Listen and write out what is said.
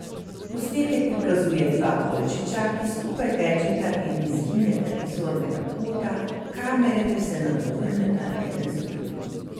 Posnetek prikazuje dva volčiča, ki skupaj tečeta in izgineta iz zornega kota kamere ter se nato vrneta eden za drugim.